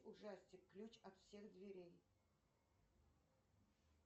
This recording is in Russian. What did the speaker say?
ужастик ключ от всех дверей